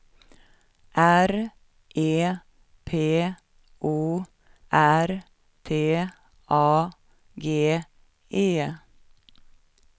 R E P O R T A G E